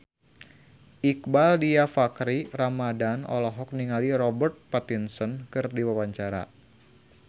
Iqbaal Dhiafakhri Ramadhan olohok ningali Robert Pattinson keur diwawancara